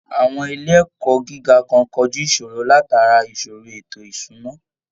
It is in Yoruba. Àwọn ilé ẹ̀kọ́ gíga kan kojú ìṣòro látàrí ìṣòro ètò ìṣúná